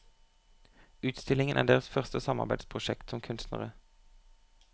Utstillingen er deres første samarbeidsprosjekt som kunstnere.